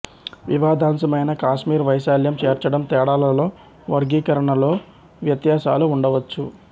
వివాదాంశమైన కాశ్మీర్ వైశాల్యం చేర్చడం తేడాలలో వర్గీకరణలో వ్యత్యాసాలు ఉండవచ్చు